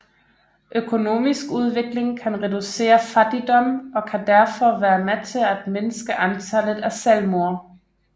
Økonomisk udvikling kan reducere fattigdom og kan derfor være med til at mindske antallet af selvmord